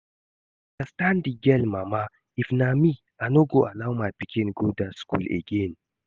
I understand the girl mama, if na me I no go allow my pikin go dat school again